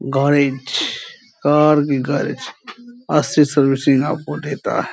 Garage car की garage अच्छी servicing आपको देता है।